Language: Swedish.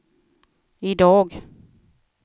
idag